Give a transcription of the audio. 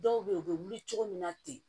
Dɔw bɛ yen u bɛ wuli cogo min na ten